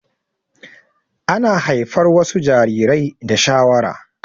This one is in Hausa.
Ana haifar wasu jarirai da shawara